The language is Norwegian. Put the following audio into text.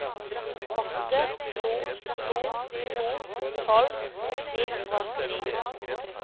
åtte to to to tolv ni hundre og åttini